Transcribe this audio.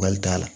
Wali da la